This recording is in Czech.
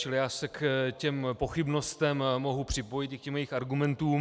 Čili já se k těm pochybnostem mohu připojit, i k těm jejich argumentům.